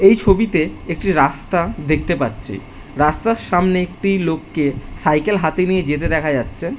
এই ছবিতে একটি রাস্তা দেখতে পাচ্ছি রাস্তার সামনে একটি লোককে সাইকেল হাতে নিয়ে যেতে দেখা যাচ্ছে।